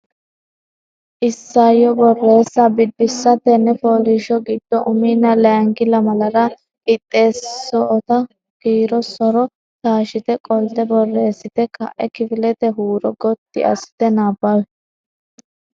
Isayyo Borreessa Biddissa Tenne fooliishsho giddo uminna layinki lamalara qixxeessootto kiiro so’ro taashshite qolte borreessite ka’e kifilete huuro gotti assite nabbawi.